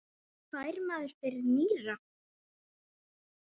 Hvað fær maður fyrir nýra?